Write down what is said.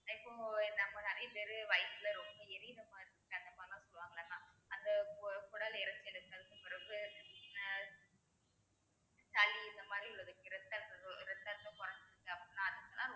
ஆஹ் இப்போ நம்ம நிறைய பேரு வயித்துல ரொம்ப எரியற மாதிரி அந்த மாதிரி எல்லாம் சொல்லுவாங்கல்ல mam அந்த கு~ குடல் பிறவு அஹ் சளி இந்த மாதிரி இரத்தஅழு~ இரத்தழுத்தம் கொறஞ்சிடுச்சி அப்படின்னா அடுத்த நாள்